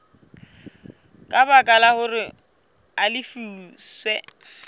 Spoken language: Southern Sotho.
ka baka hore a lefiswe